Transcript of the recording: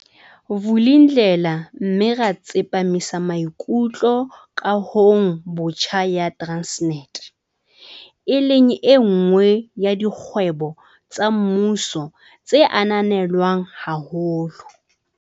Vulindlela mme ra tsepa misamaikutlo kahong botjha ya Transnet, e leng enngwe ya dikgwebo tsa mmuso tse ananelwang haholo.